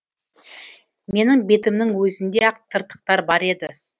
менің бетімнің өзінде ақ тыртықтар бар еді